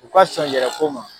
U ka sɔn yɛrɛ ko ma.